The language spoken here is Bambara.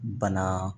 Bana